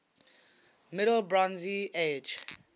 middle bronze age